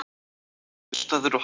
Vinnustaður og hollusta